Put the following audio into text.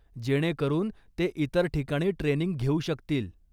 जेणेकरून ते इतर ठिकाणी ट्रेनिंग घेऊ शकतील.